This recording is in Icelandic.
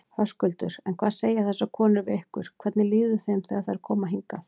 Höskuldur: En hvað segja þessar konur við ykkur, hvernig líður þeim þegar þær koma hingað?